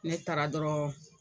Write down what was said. Ne taara dɔrɔn.